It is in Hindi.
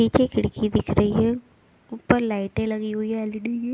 पीछे खिड़की दिख रही है ऊपर लाइटें लगी हुई है एल_ई_डी की।